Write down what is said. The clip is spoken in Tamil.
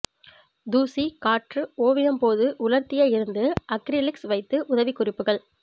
தூசி காற்று ஓவியம் போது உலர்த்திய இருந்து அக்ரிலிக்ஸ் வைத்து உதவிக்குறிப்புகள்